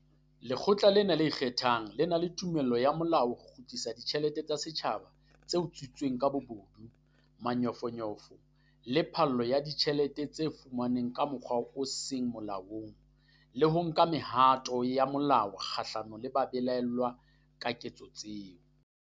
Lekgotla lena le ikgethang le na le tumello ya molao ya ho kgutlisa ditjhelete tsa setjhaba tse utswitsweng ka bobodu, manyofonyofo le phallo ya ditjhelete tse fumanweng ka mokgwa o seng molaong, le ho nka mehato ya molao kgahlano le ba belaellwang ka ketso tseo.